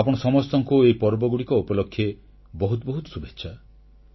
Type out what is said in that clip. ଆପଣ ସମସ୍ତଙ୍କୁ ଏହି ପର୍ବଗୁଡ଼ିକ ଉପଲକ୍ଷେ ବହୁତ ବହୁତ ଶୁଭେଚ୍ଛା